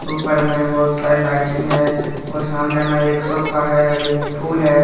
उपर में बहोत सारी लाइटिंग है और सामने में एक सोफा है और एक फूल है।